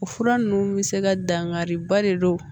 O fura ninnu bɛ se ka dankariba de don